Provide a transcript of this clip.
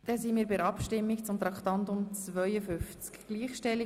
Wir sind bei der Abstimmung über Traktandum 52 angelangt.